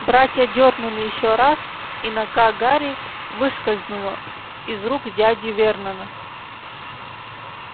братья дёрнули ещё раз и нога гарри выскользнула из рук дяди вернона